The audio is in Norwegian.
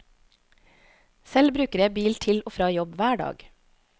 Selv bruker jeg bil til og fra jobb hver dag.